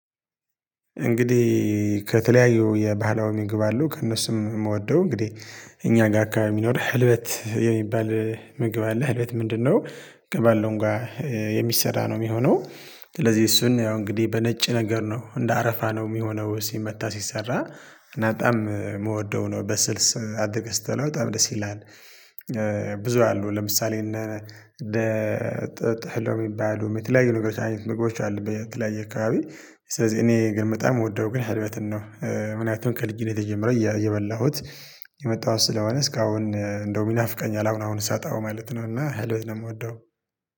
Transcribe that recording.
እንግዲህ ከተለያዩ የባህላዊም ምግብ አሉ ከእነሱም የምወደው እንግዲህ እኛ ጋር አካባቢ የሚኖርህ ህልበት የሚባል ምግብ አለህ ህልበት ምንድነው? ከባለሁ ጋር የሚሰራ ነው የሚሆነው። ስለዚህ እሱን ያው እንግዲህ በነጭ ነገር ነው እንደ አረፋ ነው የሚሆነው ሲመታ ሲሰራ እና በጣም የምወደው ነው በስልስ አደረገህ ስትበላው በጣም ደስ ይላል። ብዙ አሉ ለምሳሌ እና ጥሎ የሚባሉ የተለያዩ ነገሮች አይነት ምግቦች አሉ በተለያዩ አካባቢ። ስለዚህ እኔ ግን በጣም የምወደው ግን ህልበትን ነው። ምክንያቱም ከልጅነቴ ጀመረው እየበላሁት የመጣሁት ስለሆነ እስካሁን እንደው ይናፍቀኛል አሁን አሁን ሳጠው ማለት ነው። እና ህልበት የምወደው